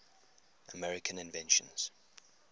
american inventions